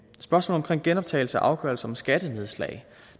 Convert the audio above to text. spørgsmålet om genoptagelse af afgørelser om skattenedslag